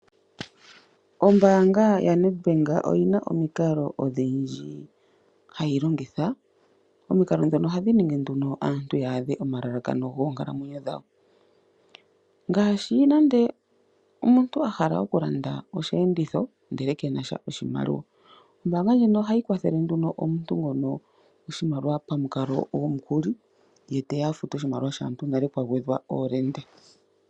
Ombaanga yaNedbank oyina omikalo odhindji hayi longitha. Omikalo dhono ohadhi ningi nduno aantu ya adhe omalalakano goonkalamwenyo dhawo, ngaashi nando omuntu a hala okulanda osheenditho ye kena sha oshimaliwa. Ombaaanga ndjino ohayi kwathele nduno omuntu ngono oshimaliwa pamukalo gwomukuli ye teya a fute oshimaliwa shaantu nale pwa gwedha iihohela.